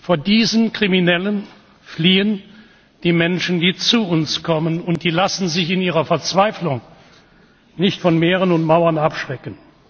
Vor diesen Kriminellen fliehen die Menschen, die zu uns kommen, und sie lassen sich in ihrer Verzweiflung nicht von Meeren und Mauern abschrecken.